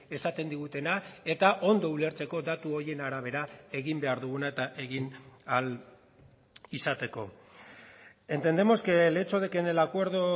esaten digutena eta ondo ulertzeko datu horien arabera egin behar duguna eta egin ahal izateko entendemos que el hecho de que en el acuerdo